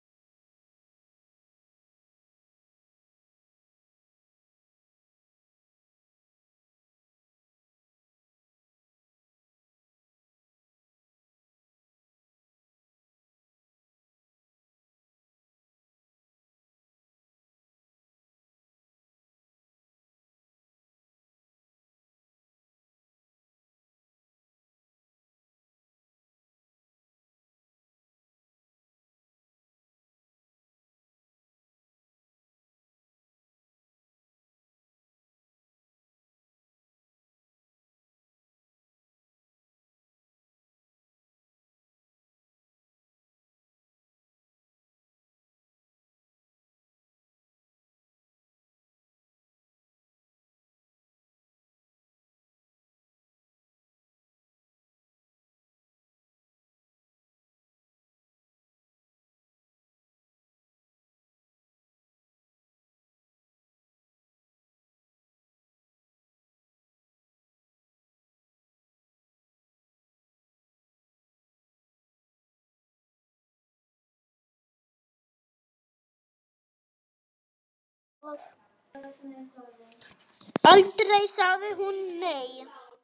Aldrei sagði hún nei.